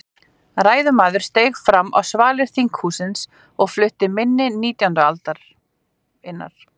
Ræðumaður steig fram á svalir þinghússins og flutti minni nítjándu aldarinnar.